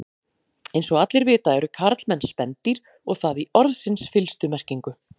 Eins og allir vita eru karlmenn spendýr og það í orðsins fyllstu merkingu.